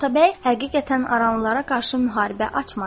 Atabəy həqiqətən aranlılara qarşı müharibə açmadı.